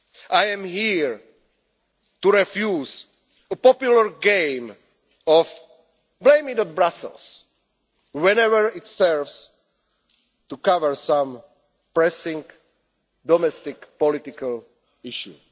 I am here to refuse the popular game of blame it on Brussels' whenever it serves to cover some pressing domestic political issue.